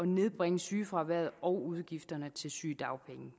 nedbringe sygefraværet og udgifterne til sygedagpenge